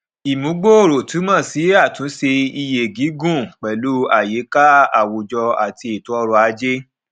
ìmúgbòòrò túmọ sí àtúnṣe iye gígùn pẹlú àyíká àwùjọ àti ètò ọrọ̀-ajé